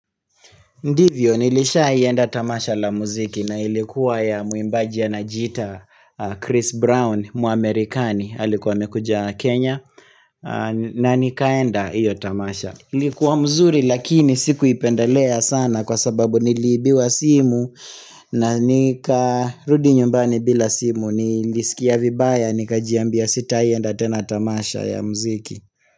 Ndivyo nilishaenda tamasha la muziki na ilikuwa ya mwimbaji anajita Chris Brown mwamerikani alikuwa amekuja Kenya na nikaenda hiyo tamasha. Ilikuwa mzuri lakini sikuipendelea sana kwa sababu niliibiwa simu na nika rudinyumbani bila simu nilisikia vibaya nika jiambia sitaienda tena tamasha ya muziki.